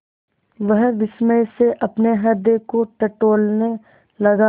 वह विस्मय से अपने हृदय को टटोलने लगा